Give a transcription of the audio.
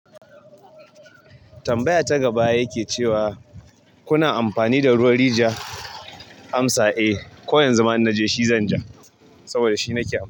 Tambaya ta gaba yake cewa kuna amfani da ruwan rijiya amsa a ko yanzu ma in naje shi zan ja saboda shi nake amfani.